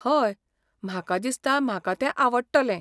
हय, म्हाका दिसता म्हाका तें आवडटलें.